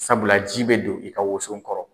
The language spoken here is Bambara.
Sabula ji bɛ don i ka wuso kɔrɔ.